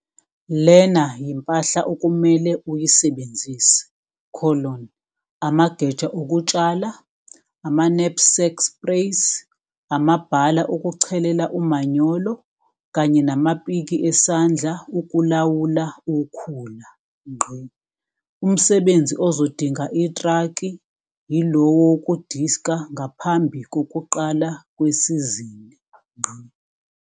Lena yimpahla okumele uyisebenzise- amageja okutshala, amaknapsack sprays, amabhala okuchelela umanyolo kanye namapiki esandla ukulawula ukhula. Umsebenzi ozodinga itraki yilowo wokudiska ngaphambi kokuqala kwesizini.